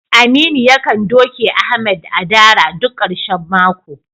Aminu yakan doke Ahmad a dara duk karshen mako.